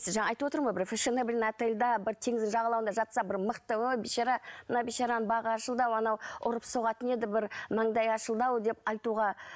айтып отырмын ғой бір отельда бір теңіздің жағалауында жатса бір мықты ой бейшара мына бейшараның бағы ашылды ау анау ұрып соғатын еді бір маңдайы ашылды ау деп айтуға